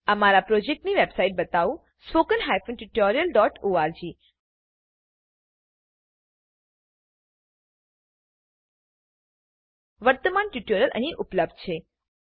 અમારા પ્રોજેક્ટની website બતાવું httpspoken tutorialorg વર્તમાન ટ્યુટોરીયલ અહીં ઉપલબ્ધ છે